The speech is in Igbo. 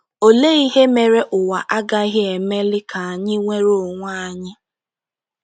Olee ihe mere ụwa agaghị emeli ka anyị nwere onwe anyị?